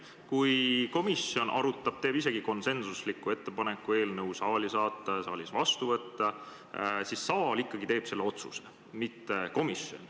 Kui komisjon arutab, teeb isegi konsensusliku ettepaneku eelnõu saali saata ja saalis vastu võtta, siis saal teeb ikkagi otsuse, mitte komisjon.